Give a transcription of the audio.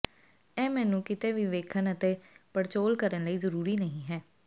ਇਹ ਮੇਨੂ ਕਿਤੇ ਵੀ ਵੇਖਣ ਅਤੇ ਪੜਚੋਲ ਕਰਨ ਲਈ ਜ਼ਰੂਰੀ ਨਹੀ ਹੈ